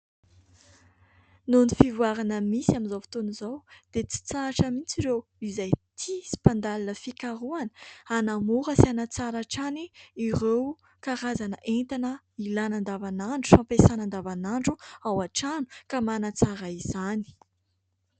Noho ny fivoarana misy amin'izao fotoana izao, dia tsy hitsahatra mihitsy ireo izay tia sy mpandalina fikarohana, hanamora sy hanatsara hatrany ireo karazana entana ilaina andavanandro sy fampiasaina andavanandro ao an-trano ka manatsara izany.